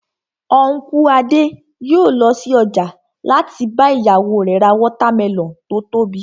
Unku Adé yòó lọ sí ọjà láti bá ìyàwó rẹ̀ ra watermelon tó tóbi